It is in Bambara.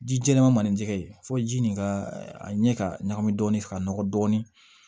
Ji jɛlenman malen tɛ yen fo ji nin ka a ɲɛ ka ɲagami dɔɔni ka nɔgɔ dɔɔnin